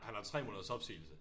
Han har 3 måneders opsigelse